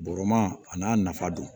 Bɔrɔma a n'a nafa don